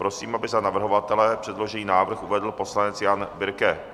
Prosím, aby za navrhovatele předložený návrh uvedl poslanec Jan Birke.